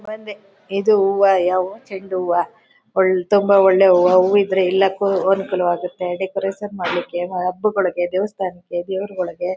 ಬಂದೆ ಇದು ಹೂವ ಯಾವ ಹೂವ ಚೆಂಡು ಹೂವ . ತುಂಬಾ ಒಳ್ಳೆ ಹೂವಿದ್ರೆ ಎಲ್ಲದಕ್ಕೂ ಅನುಕೂಲವಾಗತ್ತೆ ಡೆಕೋರೇಷನ್ ಮಾಡ್ಲಿಕ್ಕೆ ಹಬ್ಬಕ್ಕೆ ದೇವಸ್ಥಾನಗಳಿಗೆ ದೇವರುಗಳಿಗೆ.